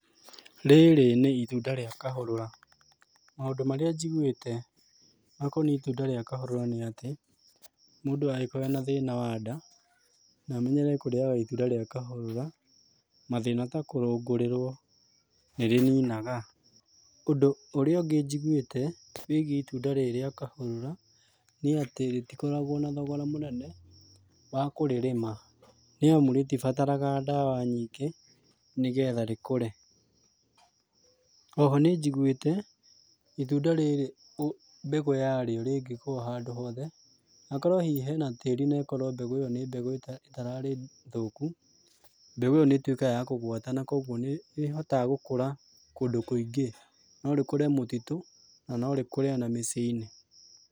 Rĩrĩ nĩ itunda rĩa kahũrũra. Maũndũ marĩa njigũĩte makoniĩ itunda rĩa kahũrũra nĩ atĩ, mũndũ angĩkorwo ena na thĩna wa nda, na amenyere kũrĩaga itunda rĩa kahũrũra, mathĩna ta kũrũngũrĩrwo nĩ rĩninaga. Ũndũ ũrĩa ũngĩ njiguĩte wĩgiĩ itunda rĩrĩ rĩa kahũrũra, nĩ atĩ rĩtikoragwo na thogora mũnene wa kũrĩrĩma nĩ amu rĩtibatara ndawa nyingĩ nĩgetha rĩkũre. Oho nĩ njiguĩte, itunda rĩrĩ mbegũ yarĩo rĩngĩkorwo o handũ hothe, hakorwo hihi hena tĩri na mbegũ ĩyo ĩkorwo nĩ mbegũ ĩtararĩ thũku, mbegũ ĩyo nĩ ĩtuĩkaga ya kũgwata na kũguo nĩ ĩhotaga gũkũra kũndũ kũingĩ. No rĩkũre mũtitũ na no rĩkũre ona mĩciĩ-inĩ.